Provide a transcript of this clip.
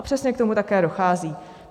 A přesně k tomu také dochází.